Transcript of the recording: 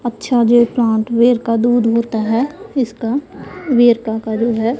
अच्छा ये प्लांट वेरका दूध होता है इसका वेरका का दूध है।